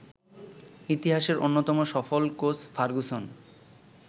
ইতিহাসের অন্যতম সফল কোচ ফার্গুসন